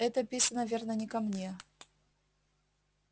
это писано верно не ко мне